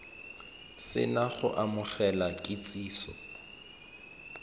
se na go amogela kitsiso